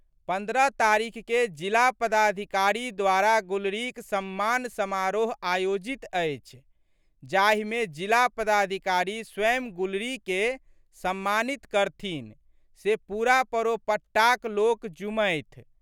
पन्द्रह तारीखके जिला पदाधिकारी द्वारा गुलरीक सम्मान समारोह आयोजित अछि जाहिमे जिला पदाधिकारी स्वयं गुलरीके सम्मानित करथिन से पूरा परोपट्टाक लोक जूमथि।